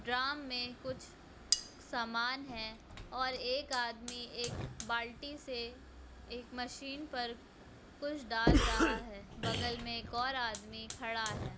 Drum में कुछ सामान है और एक आदमी एक बाल्टी से एक मशीन पर कुछ डाल रहा है बगल में एक और आदमी खड़ा है।